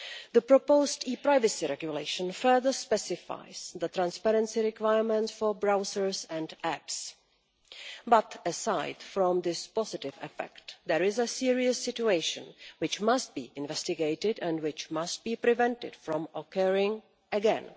The proposed e privacy regulation further specifies the transparency requirements for browsers and apps, but aside from this positive effect, there is a serious situation which must be investigated and which must be prevented from occurring again.